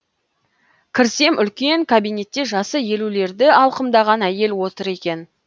кірсем үлкен кабинетте жасы елулерді алқымдаған әйел отыр екен